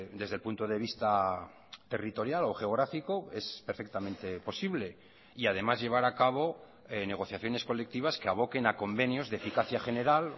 desde el punto de vista territorial o geográfico es perfectamente posible y además llevar a cabo negociaciones colectivas que aboquen a convenios de eficacia general